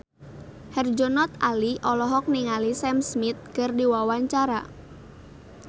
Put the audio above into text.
Herjunot Ali olohok ningali Sam Smith keur diwawancara